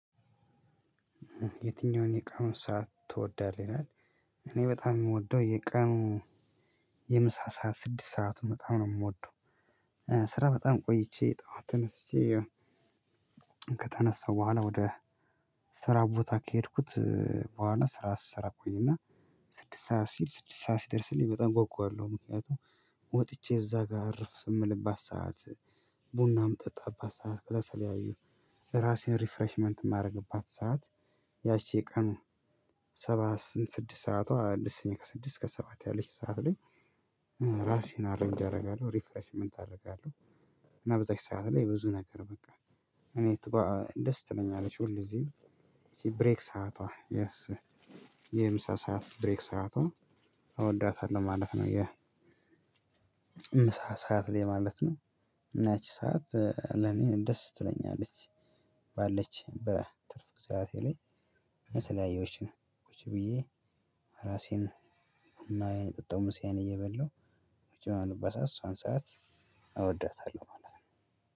የትኛውን የቀኑን ሰዓት ትወዳለህ ይላል? እኔ በጣም የምወደው የቀኑ የምሳ ሰዓት ስድስት ሰዓት በጣም ነው የምወደው። ስራ በጣም ቆይቼ ጠዋት ተነስቼ ከተነሳው በኋላ ወደ ስራ ቦታ ከሄድኩት በኋላ ስራ ስሰራ ቆይና ስድስት ሰዓት ሲል ስድስት ሰዓት ሲደርስልኝ በጣም እጓጓለሁ ምክንያቱም ወጥቼ እዛ ጋር እርፍ የምልባት ሰዓት። ቡና የምጠጣባት ሰዓት ከተለያዩ ራሴን ሪፍሬሽመንት የማደርግባት ሰዓት። ያቺ ቀን ሰባት ስንት ስድስት ሰዓቷ ደስ የሚል ከስድስት እስከ ሰባት ያለችው ሰዓት ላይ። ራሴን አሬንጅ አደርጋለሁ ሪፍሬሽመንት አደርጋለሁ። እና በዛች ሰዓት ላይ ብዙ ነገር በቃ ሁኔታዋ ደስ ትለኛለች ሁል ግዜ። ይቺ ብሬክ ሰዓቷ የምሳ ሰዓት ብሬክ ሰዓቷ እወዳታለሁ ማለት ነው። የ ምሳ ሰዓት ላይ ማለት ነው። እና ያቺ ሰዓት ለኔ ደስ ትለኛለች። ባለችኝ በትርፍ ሰዓቴ ላይ የተለያየዎችን ቁጭ ብዬ ራሴን ቡናዬን እየጠጣው ምሳዬን እየበላው ቁጭ የምልባት ሰዓት እሷን ሰዓት እወዳታለሁ ማለት ነው።